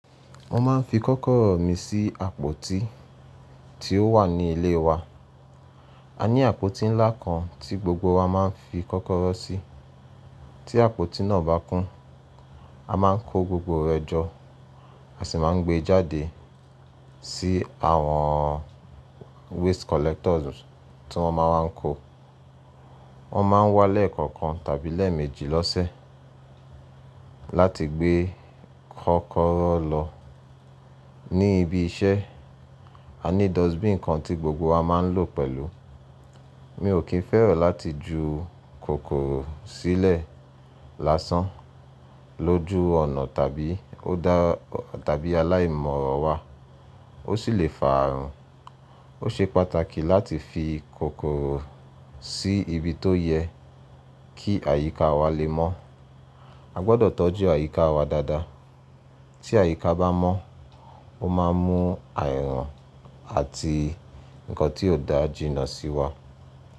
Mo máa ń fi kọ́kọ́rọ́ mi sí àpótí tí ó wà ní ilé wa. A ní àpótí ńlá kan tí gbogbo wa máa ń fi kọ́kọ́rọ́ sí. Tí àpótí náà bá kún, a máa ń kó gbogbo rẹ̀ jọ, a sì máa ń gbé e jáde sí àwọn waste collectors tí wọ́n máa ń wá kó. Wọ́n máa ń wá lẹ́ẹ̀kọ̀kan tàbí lẹ́ẹ̀mẹ́jì lọ́sẹ̀ láti gbé kọ́kọ́rọ́ lọ. Ni ibi iṣẹ́, a ní dustbin kan tí gbogbo wa máa ń lò pẹ̀lú. Mi ò kí ń fẹ́ràn láti ju kòkòrò sílẹ̀ lásán lójú ọ̀nà tàbí aláìmọ̀ràn wa, ó sì lè fà áàrun. Ó ṣe pàtàkì láti fi kòkòrò sí ibi tó yẹ kí àyíká wa lè mọ́. A gbọdọ̀ tọ́jú àyíká wa dáadáa. Tí àyíká bá mọ́, ó máa ń mú àarun àti nǹkan tí kò dáa jinnà sí wa.